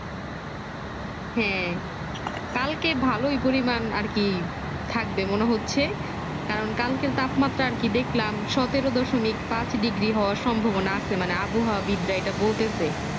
হম কালকে ভালোই পরিমান আরকি থাকবে মনে হচ্ছে কারণ কালকের তাপমাত্রা আরকি দেখলাম সতেরো দশমিক পাঁচ digri হওয়ার সম্ভাবনা আছে মানে অভয়া বিদরা এটা বলতেছে